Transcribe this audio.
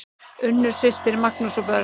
Unnur systir, Magnús og börn.